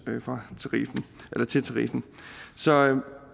til tariffen så